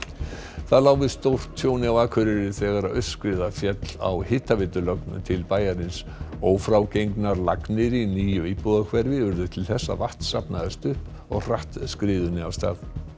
það lá við stórtjóni á Akureyri þegar aurskriða féll á hitaveitulögn til bæjarins ófrágengnar lagnir í nýju íbúðahverfi urðu til þess að vatn safnaðist upp og hratt skriðunni af stað